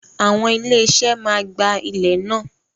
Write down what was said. Awon ilé iṣẹ́ máa gba ilẹ̀ náà.